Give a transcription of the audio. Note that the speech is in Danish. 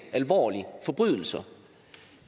alvorlige forbrydelser